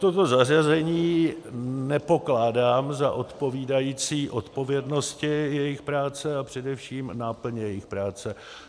Toto zařazení nepokládám za odpovídající odpovědnosti jejich práce a především náplně jejich práce.